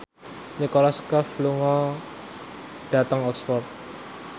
Nicholas Cafe lunga dhateng Oxford